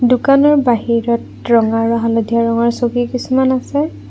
দোকানৰ বাহিৰত ৰঙা আৰু হালধীয়া ৰঙৰ চকী কিছুমান আছে।